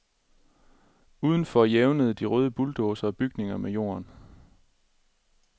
Udenfor jævnede de røde bulldozere bygningerne med jorden.